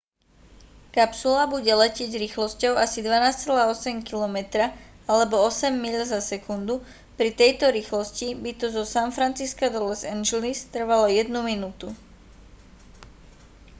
kapsula bude letieť rýchlosťou asi 12,8 km alebo 8 míľ za sekundu pri tejto rýchlosti by to zo san francisca do los angeles trvalo jednu minútu